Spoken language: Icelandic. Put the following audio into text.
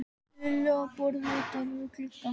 Lillu á borð úti við gluggann.